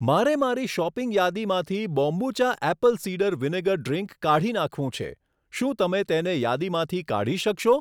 મારે મારી શોપિંગ યાદીમાંથી kombucha apple cider vinegar drink કાઢી નાખવું છે, શું તમે તેને યાદીમાંથી કાઢી શકશો?